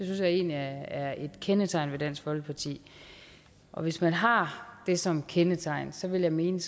jeg egentlig er et kendetegn ved dansk folkeparti og hvis man har det som kendetegn vil jeg mene